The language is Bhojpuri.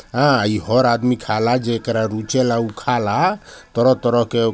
हां ही हर आदमी खाला जेकरा रुचेला उ खाला तरह तरह के